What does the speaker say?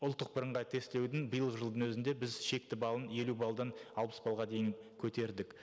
ұлттық бірыңғай тестілеудің биылғы жылдың өзінде біз шекті баллын елу баллдан алпыс баллға дейін көтердік